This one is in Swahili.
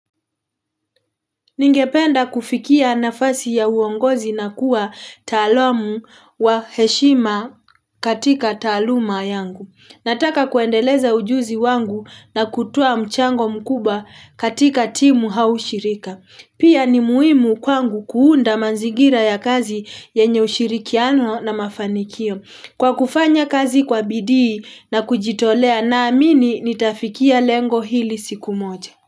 Ningependa kufikia nafasi ya uongozi na kuwa taalamu wa heshima katika taaluma yangu. Nataka kuendeleza ujuzi wangu na kutua mchango mkubwa katika timu au shirika. Pia ni muhimu kwangu kuunda manzigira ya kazi yenye ushirikiano na mafanikio. Kwa kufanya kazi kwa bidii na kujitolea naamini nitafikia lengo hili siku moja.